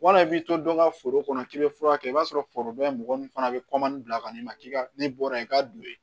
Wala i b'i to dɔ ka foro kɔnɔ k'i bɛ furakɛ i b'a sɔrɔ foroba mɔgɔ min fana bɛ bila ka n'i ma k'i ka ne bɔra yen k'a don ye